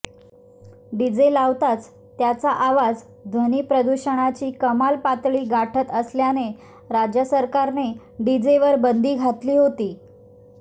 DJ लावताच त्याचा आवाज ध्वनिप्रदूषणाची कमाल पातळी गाठत असल्याने राज्य सरकारने डीजेवर बंदी घातली होती